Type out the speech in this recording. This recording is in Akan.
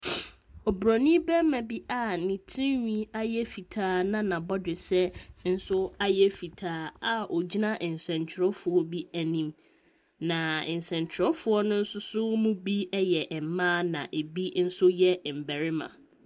Obronin barima a ne tirihwi ayɛ fitaa na n’abɔdwe nso ayɛ fitaa a ogyina nsɛntwerɛfoɔ anim, na nsɛntwerɛfoɔ no nso binom yɛ mmaa na binom nso yɛ mmarima.